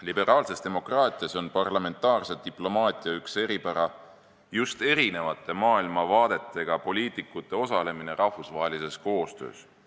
Liberaalses demokraatias on parlamentaarse diplomaatia üks eripärasid just erinevate maailmavaadetega poliitikute osalemine rahvusvahelises koostöös.